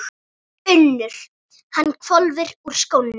UNNUR: Hann hvolfir úr skónum.